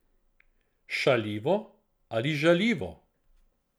Šaljivo ali žaljivo?